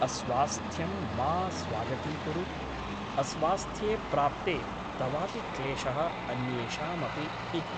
अस्वास्थ्यं मा स्वागतीकुरु । अस्वास्थ्ये प्राप्ते तवापि क्लेशः अन्येषामपि इति ।